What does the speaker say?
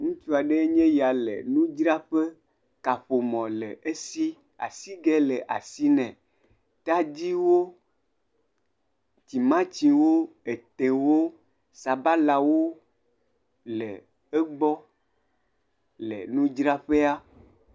Ŋutsu aɖee nye ya le nudzraƒe. Kaƒomɔ le esi. Asigɛ le asi nɛ. Tadiwo, timatiwo, etewo, sabalawo le egbɔ le nudzraƒea.